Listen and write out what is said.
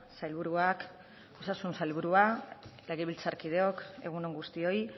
sailburuak osasun sailburua legebiltzarkideok egun on guztioi